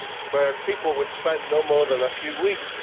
where people would spend no more than a few weeks.